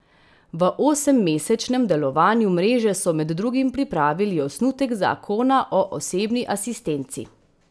V osemmesečnem delovanju mreže so med drugim pripravili osnutek zakona o osebni asistenci.